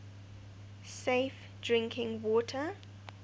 safe drinking water